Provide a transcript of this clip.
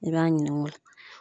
I b'a ɲininka o la.